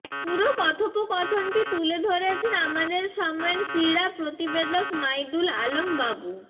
পুরো কথোপকথনটি তুলে ধরেছেন আমাদের সময়ের ক্রীড়া প্রতিবেদক মাইদুল আলম বাবু